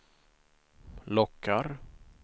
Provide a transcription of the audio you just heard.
lockar